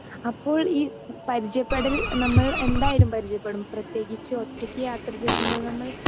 speaker 2 അപ്പോൾ ഈ പരിചയപ്പെടൽ നമ്മൾ എന്തായാലും പരിചയപ്പെടും പ്രത്യേകിച്ച് ഒറ്റയ്ക്ക് യാത്ര ചെയ്യുമ്പോൾ നമ്മൾ